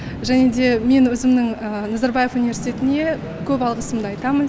және де мен өзімнің назарбаев университетіне көп алғысымды айтамын